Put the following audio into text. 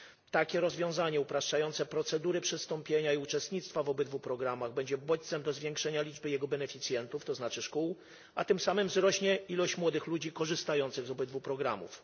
Takie rozwiązanie upraszczające procedury przystąpienia i uczestnictwa w obydwu programach będzie bodźcem do zwiększenia liczby jego beneficjentów, to znaczy szkół, a tym samym wzrośnie ilość młodych ludzi korzystających z obydwu programów.